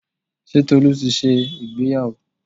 Ṣé Tolu ti ṣe ìgbéyàwó?